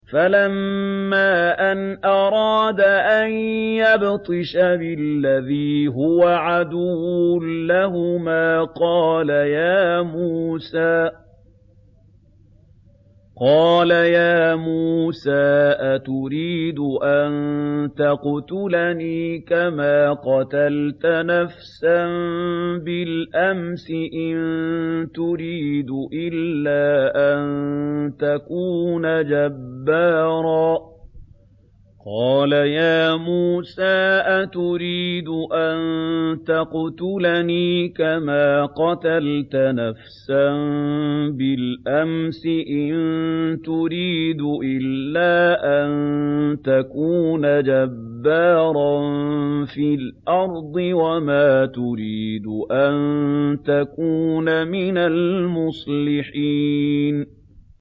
فَلَمَّا أَنْ أَرَادَ أَن يَبْطِشَ بِالَّذِي هُوَ عَدُوٌّ لَّهُمَا قَالَ يَا مُوسَىٰ أَتُرِيدُ أَن تَقْتُلَنِي كَمَا قَتَلْتَ نَفْسًا بِالْأَمْسِ ۖ إِن تُرِيدُ إِلَّا أَن تَكُونَ جَبَّارًا فِي الْأَرْضِ وَمَا تُرِيدُ أَن تَكُونَ مِنَ الْمُصْلِحِينَ